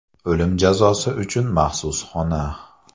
O‘lim jazosi uchun maxsus xona.